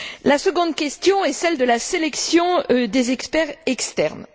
La seconde question est celle de la sélection des experts externes.